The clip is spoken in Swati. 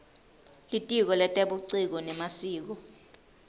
litiko letebuciko nemasiko